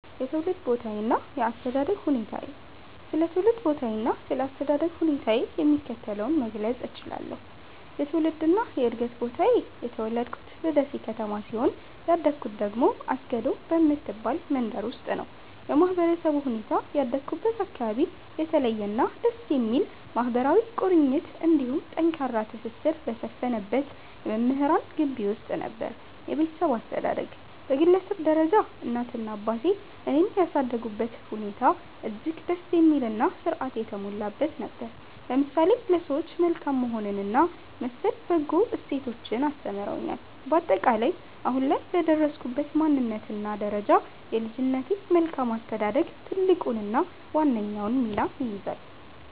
የትውልድ ቦታዬና የአስተዳደግ ሁኔታዬ ስለ ትውልድ ቦታዬና ስለ አስተዳደግ ሁኔታዬ የሚከተለውን መግለጽ እችላለሁ፦ የትውልድና የዕድገት ቦታዬ፦ የተወለድኩት በደሴ ከተማ ሲሆን፣ ያደግኩት ደግሞ አስገዶ በምትባል መንደር ውስጥ ነው። የማህበረሰቡ ሁኔታ፦ ያደግኩበት አካባቢ የተለየና ደስ የሚል ማህበራዊ ቁርኝት እንዲሁም ጠንካራ ትስስር በሰፈነበት የመምህራን ግቢ ውስጥ ነበር። የቤተሰብ አስተዳደግ፦ በግለሰብ ደረጃ እናቴና አባቴ እኔን ያሳደጉበት ሁኔታ እጅግ ደስ የሚልና ሥርዓት የተሞላበት ነበር፤ ለምሳሌ ለሰዎች መልካም መሆንንና መሰል በጎ እሴቶችን አስተምረውኛል። ባጠቃላይ፦ አሁን ላይ ለደረስኩበት ማንነትና ደረጃ የልጅነቴ መልካም አስተዳደግ ትልቁንና ዋነኛውን ሚና ይይዛል።